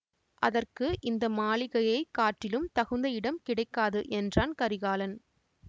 அதற்கு இந்த மாளிகையைக் காட்டிலும் தகுந்த இடம் கிடைக்காது என்றான் கரிகாலன்